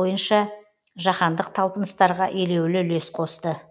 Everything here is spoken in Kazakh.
бойынша жаһандық талпыныстарға елеулі үлес қосты